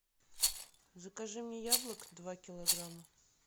закажи мне яблок два килограмма